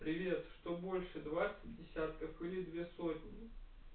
привет что больше двадцать десятков и две сотни